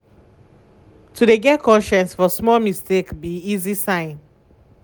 to de get conscience for small mistake be easy sign.